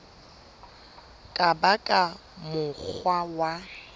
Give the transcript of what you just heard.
ka ba ka mokgwa wa